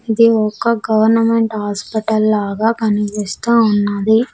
ఇది ఒక government hospital లాగా కనిపిస్తూ ఉన్నది.